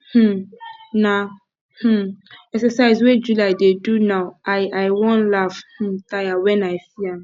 um na um exercise wey july dey do now i i wan laugh um tire wen i see am